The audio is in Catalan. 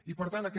i per tant aquest